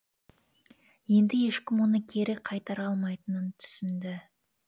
енді ешкім оны кері қайтара алмайтынын түсінді